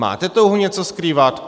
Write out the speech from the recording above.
Máte touhu něco skrývat?